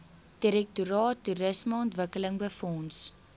direktoraat toerismeontwikkeling befonds